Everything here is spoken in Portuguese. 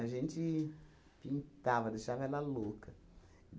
A gente pintava, deixava ela louca.